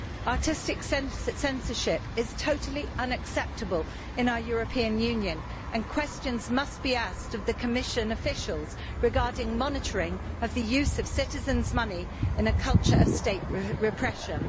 Artistic censorship is totally unacceptable in our European Union and questions must be asked of the Commission officials regarding monitoring of the use of citizens' money in a culture of state repression.